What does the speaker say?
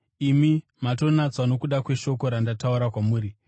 Imi matonatswa nokuda kweshoko randataura kwamuri.